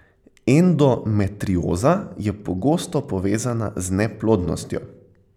Endometrioza je pogosto povezana z neplodnostjo.